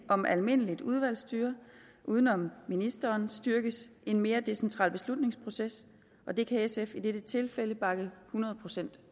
om almindeligt udvalgsstyre uden om ministeren styrkes en mere decentral beslutningsproces og det kan sf i dette tilfælde bakke hundrede procent